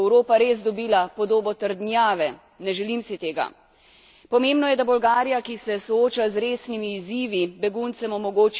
Pomembno je, da Bolgarija, ki se sooča z resnimi izzivi, beguncem omogoči bivanje na dostojen način in varovanje njihovih pravic.